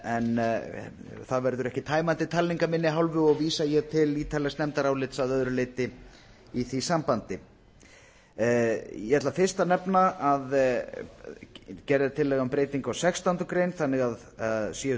en það verður ekki tæmandi talning af minni hálfu og vísa ég til ítarlegs nefndarálits að öðru leyti í því sambandi ég ætla fyrst að nefna að gerð er tillaga um breytingu á sextándu grein þannig að séu